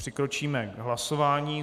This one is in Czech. Přikročíme k hlasování.